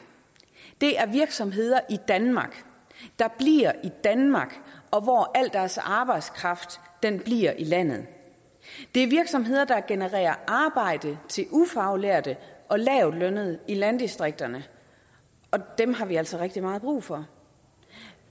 er virksomheder i danmark der bliver i danmark og hvor al deres arbejdskraft bliver i landet det er virksomheder der genererer arbejde til ufaglærte og lavtlønnede i landdistrikterne og dem har vi altså rigtig meget brug for